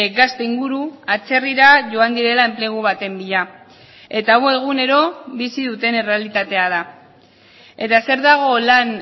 gazte inguru atzerrira joan direla enplegu baten bila eta hau egunero bizi duten errealitatea da eta zer dago lan